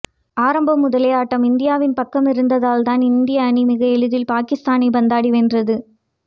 ஆரம்பம் முதலே ஆட்டம் இந்தியாவின் பக்கம் இருந்ததால் இந்திய அணி மிக எளிதில் பாகிஸ்தானை பந்தாடி வென்றது